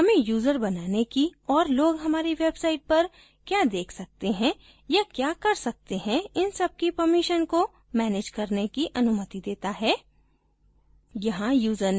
roles section हमें user बनाने की और लोग हमारी site पर the देख सकते हैं या the कर सकते है इन सब की permissions को manage करने की अनुमति देता है